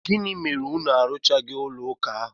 Gịnị mere unu arụchaghị ụlọụka ahụ?